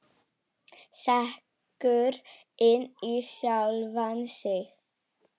Sekkur inn í sjálfan sig.